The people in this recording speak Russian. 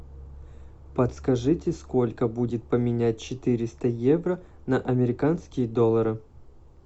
подскажите сколько будет поменять четыреста евро на американские доллары